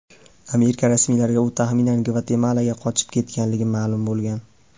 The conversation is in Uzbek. Amerika rasmiylariga u taxminan Gvatemalaga qochib ketganligi ma’lum bo‘lgan.